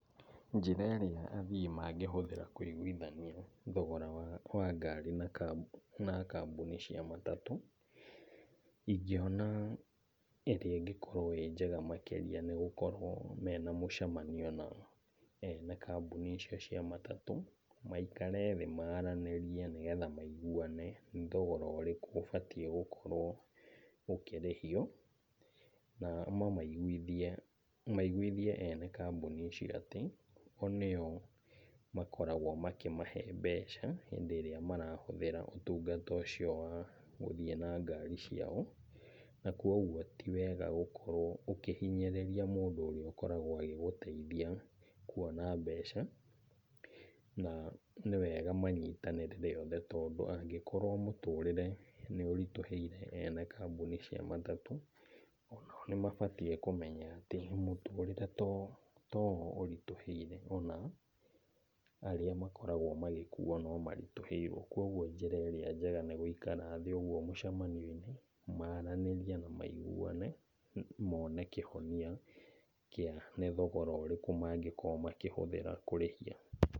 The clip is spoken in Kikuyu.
Njĩra ĩrĩa athii mangĩhũthĩra kũiguithania thogora wa wa ngari na na kambuni cia matatũ, ingĩona ĩrĩa ĩngĩkorwo ĩ njega makĩríia nĩ gũkorwo mena mũcamanio na ene kambuni icio cia matatũ maikare thĩ maranĩrie nĩ getha maiguane nĩ thogora ũrĩkũ ũbatie gũkorwo ũkĩrihio. Na mamaiguithie, maiguithie ene kambuni icio atĩ o nĩo makoragwo makĩmahe mbeca, hĩndĩ ĩrĩa marahũthĩra ũtungata ucio wa gũthiĩ na ngari ciao. Na koguo ti wega gũkorwo ũkihinyĩrĩria mũndũ ũrĩa ũkoragwo agĩgũteithia kuona mbeca, na nĩ wega manyitanĩre othe, tondũ angĩkorwo mũtũrĩre nĩ ũritũhĩire ene kambuni cia matatũ, onao nĩ mabatie kíũmenya atĩ mũtũrĩre to o to o ũritũhĩire. ona arĩa makoragwo magĩkuo no maritũhĩirwo. Koguo njira ĩrĩa njega nĩ gũikara thĩ ũguo mũcamanio-inĩ maranĩrie na maiguane mone kĩhonia kĩa nĩ thogora ũrĩkũ mangĩkorwo makĩhũthĩra kũrĩhia.